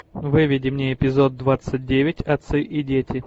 выведи мне эпизод двадцать девять отцы и дети